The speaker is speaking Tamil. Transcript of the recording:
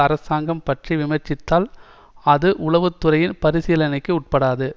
அரசாங்கம் பற்றி விமர்சித்தால் அது உளவு துறையின் பரிசீலனைக்கு உட்படாது